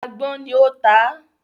“agbọ́n” ni o tá.